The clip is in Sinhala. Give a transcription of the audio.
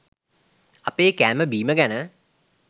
අපේ කෑම බීම ගැන